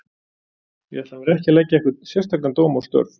Ég ætla mér ekki að leggja einhvern sérstakan dóm á störf